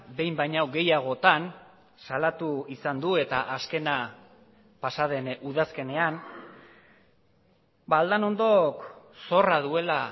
behin baino gehiagotan salatu izan du eta azkena pasa den udazkenean aldanondok zorra duela